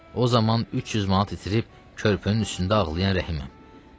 O zaman 300 manat itirib körpünün üstündə ağlayan Rəhiməm.